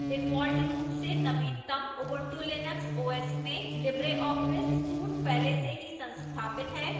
default रूप से नवीनतम ubuntu linux os में libreoffice suite पहले से ही संस्थापित है